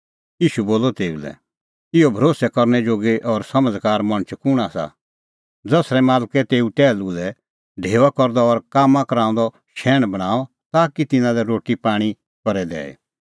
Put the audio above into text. ईशू बोलअ तेऊ लै इहअ भरोस्सै करनै जोगी और समझ़कार मणछ कुंण आसा ज़सरै मालकै तेऊ टैहलू लै ढेऊआ करदअ और कामां कराऊंदअ शैहण बणांअ ताकि तिन्नां लै रोटी पाणीं करे दैई